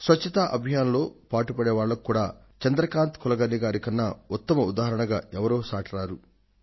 స్వచ్ఛ భారత్ అభియాన్ లో పాటుపడే వాళ్లకు కూడా చంద్రకాంత్ కులకర్ణి గారి కన్నా ఉత్తమ ఉదాహరణగా ఎవరూ సాటిరారు